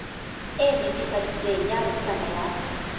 e netefaditsweng ya bukana ya